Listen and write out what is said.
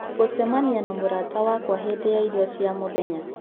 gũcemania na mũrata wakwa hĩndĩ ya irio cia mũthenya